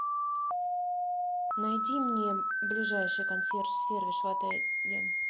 найди мне ближайший консьерж сервис в отеле